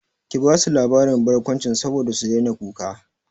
Ki basu labarin barkwanci saboda su daina kuka!